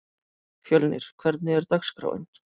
Fjölnir, hvernig er dagskráin?